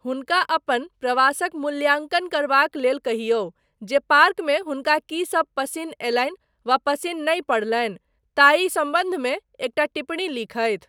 हुनका अपन प्रवासक मूल्याङ्कन करबाक लेल कहियौ जे पार्कमे हुनका की सब पसिन्न अयलनि वा पसिन्न नहि पड़लनि ताहि सम्बन्धमे एकटा टिप्पणी लिखथि।